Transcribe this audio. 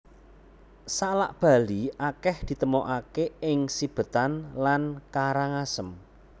Salak Bali akèh ditemokaké ing Sibetan lan Karangasem